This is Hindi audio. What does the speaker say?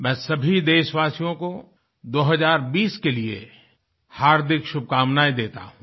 मैं सभी देशवासियों को 2020 के लिए हार्दिक शुभकामनायें देता हूँ